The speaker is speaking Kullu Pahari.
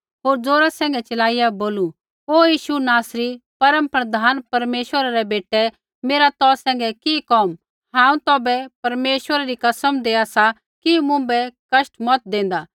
होर ज़ोरा सैंघै चिलाइया बोलू ओ यीशु नासरी परमप्रधान परमेश्वरै रै बेटै मेरा तौ सैंघै कि कोम हांऊँ तौभै परमेश्वरै री कसम देआ सा कि मुँभै कष्ट मत देंदा